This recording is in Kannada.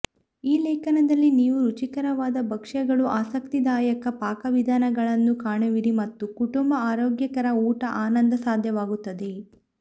ಈ ಲೇಖನದಲ್ಲಿ ನೀವು ರುಚಿಕರವಾದ ಭಕ್ಷ್ಯಗಳು ಆಸಕ್ತಿದಾಯಕ ಪಾಕವಿಧಾನಗಳನ್ನು ಕಾಣುವಿರಿ ಮತ್ತು ಕುಟುಂಬ ಆರೋಗ್ಯಕರ ಊಟ ಆನಂದ ಸಾಧ್ಯವಾಗುತ್ತದೆ